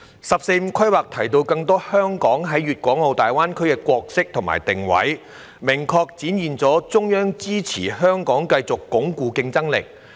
"十四五"規劃提到香港在粵港澳大灣區中更多的角色和定位，明確展現了中央支持香港繼續鞏固競爭力。